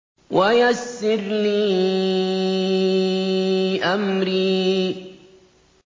وَيَسِّرْ لِي أَمْرِي